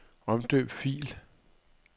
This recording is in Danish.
Omdøb fil.